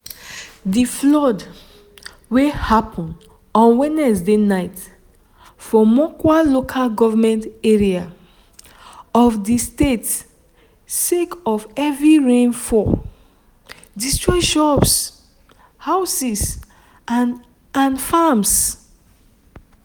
di flood wey happun on wednesday night for mokwa local goment area of di state sake of heavy rainfall destroy shops houses and and farms.